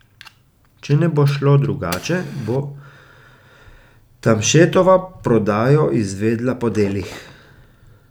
Če ne bo šlo drugače, bo Tamšetova prodajo izvedla po delih.